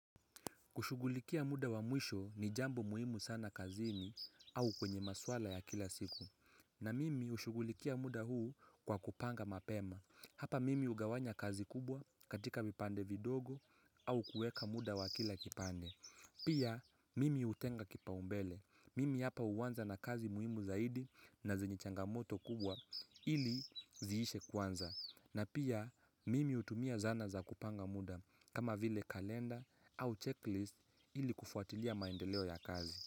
Kushughulikia muda wa mwisho ni jambo muhimu sana kazini au kwenye maswala ya kila siku. Na mimi ushugulikia muda huu kwa kupanga mapema. Hapa mimi hugawanya kazi kubwa katika vipande vidogo au kuweka muda wa kila kipande. Pia mimi hutenga kipaumbele. Mimi hapa huwanza na kazi muhimu zaidi na zenye changamoto kubwa ili ziishe kwanza. Na pia mimi hutumia zana za kupanga muda kama vile kalenda au checklist ili kufuatilia maendeleo ya kazi.